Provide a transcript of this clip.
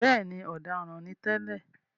Bẹ́ẹ̀ni,“ọ̀daràn” ni tẹ́lẹ̀.